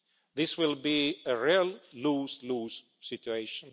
This will be a real lose-lose situation.